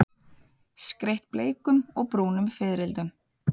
Skreytt bleikum og brúnum fiðrildum.